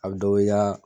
A bɛ dɔ bɔ i ka